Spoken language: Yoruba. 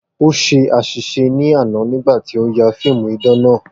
O ṣe aṣiṣe ni ana nigba ti o ya fiimu idan naa